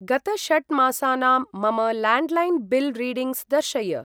गत षट् मासानां मम लाण्ड्लैन् बिल् रीडिङ्ग्स् दर्शय।